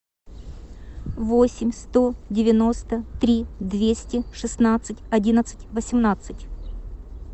восемь сто девяносто три двести шестнадцать одиннадцать восемнадцать